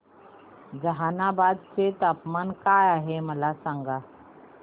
जहानाबाद चे तापमान काय आहे मला सांगा